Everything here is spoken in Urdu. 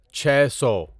چھے سو